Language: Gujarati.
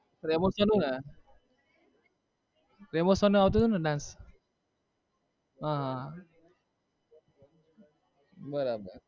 રેમો sir નું ને રેમો sir નું આવતું હતુંને dance હા હા બરાબર